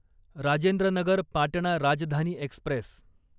Rajendra Nagar Patna Rajdhani Express